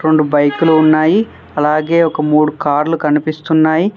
రెండు బైకులు ఉన్నాయి అలాగే ఒక మూడు కార్లు కనిపిస్తున్నాయి.